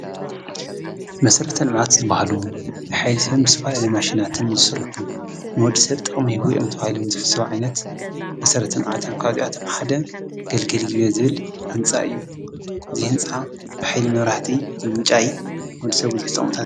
መሰረተ ልምዓት ዝባሃሉ ንሓይሊ ሰብ ብዝተፈላለዩ ማሽናትን ዝስርሑ ንወዲ ሰብ ጥቅሚ ይህቡ እሎም ዝተሓሰቡ ዓይነት ሓደ ካብዚኦም ግልግል ግቤ ዝብል ህንፃ እዩ። እዚ ህንፃ ሓይሊ መብራህቲ ምምንጫው እዩ ወዲ ሰብ ብዙሓት ጥቅምታት